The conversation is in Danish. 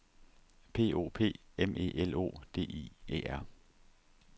P O P M E L O D I E R